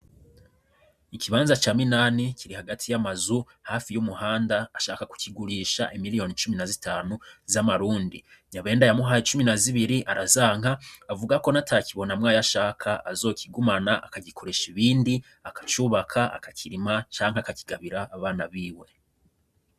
Ikibanza ca Minani kiri hagati y'amazu hafi y'ibarabara ashaka kukigurisha imiriyoni icumi na zitanu z'amarundi Nyabenda yamuhaye icumi na zibiri arazanka avuga ko n'ata kibonamwa ayo ashaka azokigumana akagikoresha ibindi akacubaka akakirima canke akakigabira abana biwe.